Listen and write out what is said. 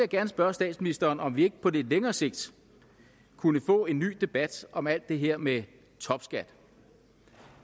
gerne spørge statsministeren om vi ikke på lidt længere sigt kunne få en ny debat om alt det her med topskat